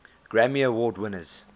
grammy award winners